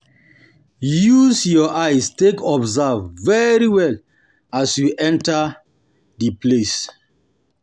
Use your eye take observe very well as you de enter di place